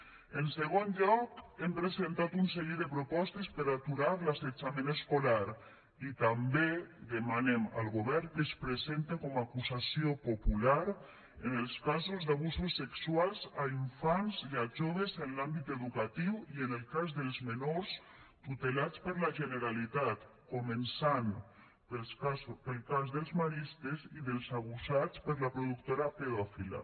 en segon lloc hem presentat un seguit de propostes per aturar l’assetjament escolar i també demanem al govern que es presente com a acusació popular en els casos d’abusos sexuals a infants i a joves en l’àmbit educatiu i en el cas dels menors tutelats per la generalitat començant pel cas dels maristes i dels abusats per la productora pedòfila